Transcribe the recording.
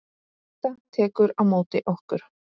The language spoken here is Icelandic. Tóta tekur á móti okkur.